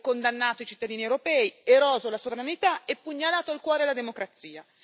Avete condannato i cittadini europei, eroso la sovranità e pugnalato al cuore la democrazia.